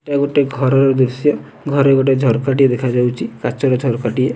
ଏଟା ଗୋଟିଏ ଘରର ଦୃଶ୍ୟ ଘରେ ଗୋଟେ ଝରକା ଟିଏ ଦେଖାଯାଉଛି କାଚର ଝରକା ଟିଏ।